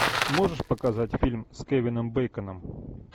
можешь показать фильм с кевином бейконом